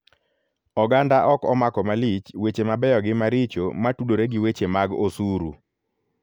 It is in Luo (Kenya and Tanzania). Oganda ok omako malich weche mabeyo gi maricho matudore gi weche mag osuru.